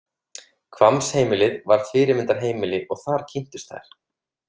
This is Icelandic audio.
Hvammsheimilið var fyrirmyndarheimili og þar kynntust þær.